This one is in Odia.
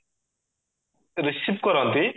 receive କରନ୍ତି